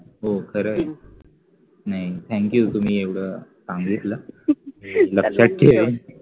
हो खरंय, नाही thank you तुम्ही एवढं सांगितलं मी लक्षात ठेवेन